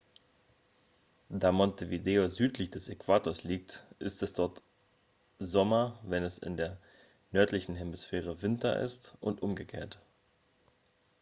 da montevideo südlich des äquators liegt ist es dort sommer wenn es in der nördlichen hemisphäre winter ist und umgekehrt